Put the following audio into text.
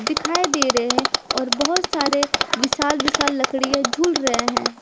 दिखाई दे रहे हैं और बहोत सारे विशाल-विशाल लकड़ियां झूल रहे हैं।